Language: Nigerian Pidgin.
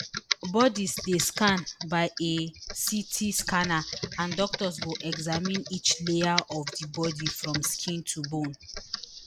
bodies dey scanned by a ct scanner and doctors go examine each layer of di body from skin to bone